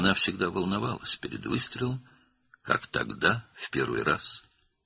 O, atəş etməzdən əvvəl həmişə narahat olurdu, necə ki o vaxt, ilk dəfə.